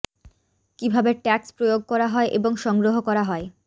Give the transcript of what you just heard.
কিভাবে ট্যাক্স প্রয়োগ করা হয় এবং সংগ্রহ করা হয়